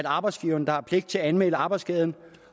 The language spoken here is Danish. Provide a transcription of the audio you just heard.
arbejdsgiveren der har pligt til at anmelde arbejdsskaden